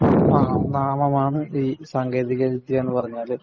നാമമാണ് ഈ സാങ്കേതിക വിദ്യ എന്ന് പറഞ്ഞാല്.